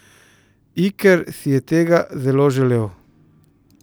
Iker si je tega zelo želel.